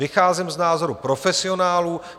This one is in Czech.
Vycházím z názorů profesionálů.